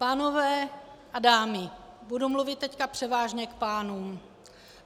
Pánové a dámy, budu mluvit teď převážně k pánům.